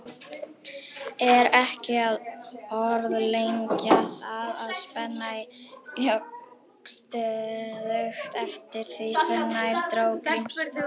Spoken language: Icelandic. Er ekki að orðlengja það, að spennan jókst stöðugt eftir því sem nær dró Grímsstöðum.